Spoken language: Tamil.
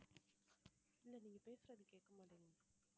இல்ல நீங்க பேசுறது கேக்கமாட்டிக்குது